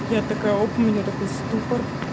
я такая оп у меня такой ступор